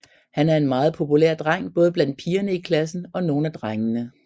Han er en meget populær dreng både blandt pigerne i klassen og nogle af drengene